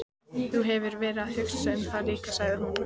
Þú hefur verið að hugsa um það líka, sagði hún.